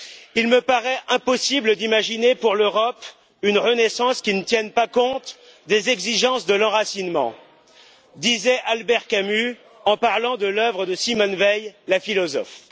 Il me paraît impossible d'imaginer pour l'Europe une renaissance qui ne tienne pas compte des exigences de l'enracinement disait Albert Camus en parlant de l'œuvre de Simone Weil, la philosophe.